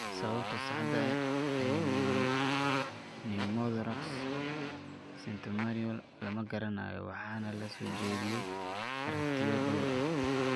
Sababta saxda ah ee pneumothorax catamenial lama garanayo waxaana la soo jeediyay aragtiyo dhowr ah.